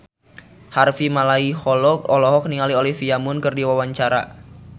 Harvey Malaiholo olohok ningali Olivia Munn keur diwawancara